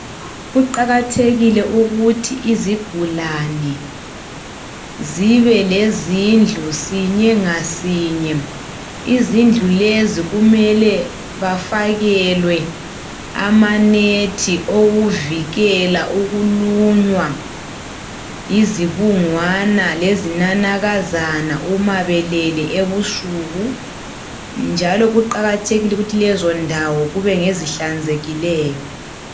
Kuqakathekile ukuthi izigulani zibe lezindlu. Sinye ngasinye. Izindlu lezi kumele bafakelwe amanethi, okuvikela ukulunywa yizibungwana, lezinanakazana, uma belele ebusuku, njalo kuqakathekile ukuthi kezondawo kube ngezihlanzekileyo.